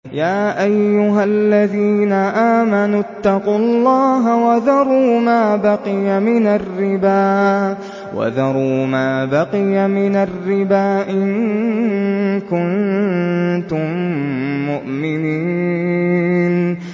يَا أَيُّهَا الَّذِينَ آمَنُوا اتَّقُوا اللَّهَ وَذَرُوا مَا بَقِيَ مِنَ الرِّبَا إِن كُنتُم مُّؤْمِنِينَ